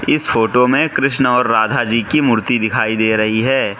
इस फोटो में कृष्ण और राधा जी की मूर्ति दिखाई दे रही है।